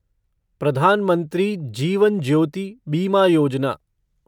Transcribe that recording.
Pradhan Mantri Jeevan Jyoti Bima Yojana